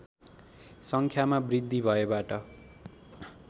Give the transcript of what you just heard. सङ्ख्यामा वृद्धि भएबाट